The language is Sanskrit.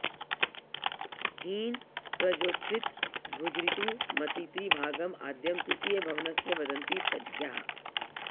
हीन प्रजोच्छ्रित भुजऋतु मती त्रि भागम् आद्यं तृतीय भवनस्य वदन्ति तज्ज्ञाः